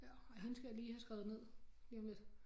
Ja ja hende skal jeg lige have skrevet ned lige om lidt